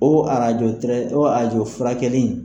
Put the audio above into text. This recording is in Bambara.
O arajo o arajo furakɛli in